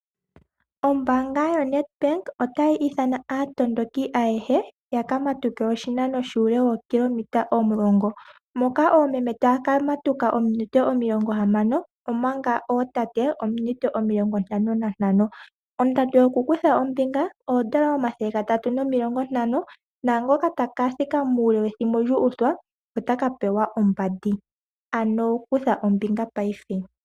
Ombanga yoNedbank otayi ithana aatondoki ayehe yaka matuke oshinano shokilometer omulongo. Moka oomeme taka matuka ominute omilongo hamano. Oma nga ootate ominute omilongo ntano nantano. Ondando yoku kutha ombinga odollar omathele gatatu nomilongo ntano. Naangoka taka thika muule wethimbo lyu uthwa ota ka pewa ombandi. Ano kutha ombinga paife.